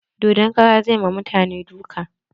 Dodon karan zai ma mutane duka.